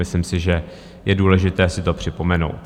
Myslím si, že je důležité si to připomenout.